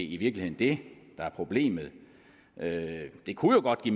i virkeligheden det der er problemet det kunne jo godt i